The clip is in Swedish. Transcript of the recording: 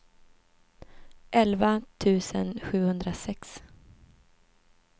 elva tusen sjuhundrasex